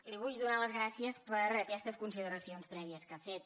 li vull donar les gràcies per aquestes consideracions prèvies que ha fet